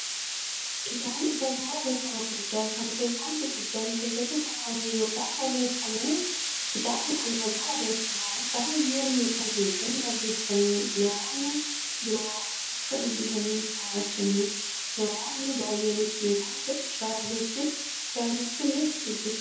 Kitaabni barruu barreeffamaa guddaa, kan beekumsi guddaan keessatti kuufame yookiin barreefameedha. Kitaabni barruu barreeffamaa, kan hayyoonni yookiin beektonni barreessanii, namni biroo akka dubbisaniif gumaachaniidha. Namoonni baay'eenis beekumsa irraa argachuuf kitaabicha ni dubbisu.